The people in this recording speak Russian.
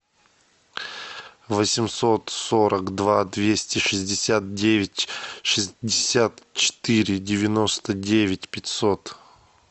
восемьсот сорок два двести шестьдесят девять шестьдесят четыре девяносто девять пятьсот